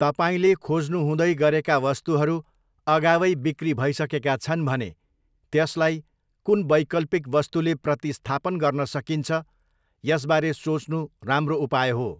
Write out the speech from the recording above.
तपाईँले खोज्नुहुँदै गरेका वस्तुहरू अगावै बिक्री भइसकेका छन् भने त्यसलाई कुन वैकल्पिक वस्तुले प्रतिस्थापन गर्न सकिन्छ, यसबारे सोच्नु राम्रो उपाय हो।